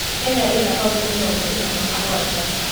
kenya ĩna kautĩ mĩrongo ĩna na mũgwanja